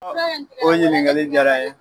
O ɲininkali diyara n ye.